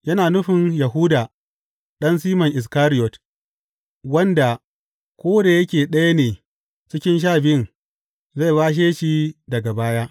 Yana nufin Yahuda, ɗan Siman Iskariyot, wanda, ko da yake ɗaya ne cikin Sha Biyun, zai bashe shi daga baya.